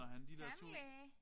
Tandlæge?